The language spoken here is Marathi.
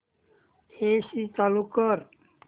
एसी चालू कर